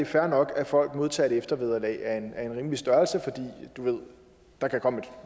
fair nok at folk modtager et eftervederlag af en rimelig størrelse for der kan komme et